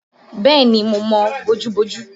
Bẹ́ẹ̀ni mo mọ bojú-bojú